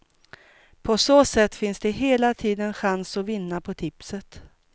På så sätt finns det hela tiden chans att vinna på tipset.